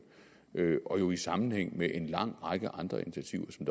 og jo i sammenhæng med en lang række andre initiativer som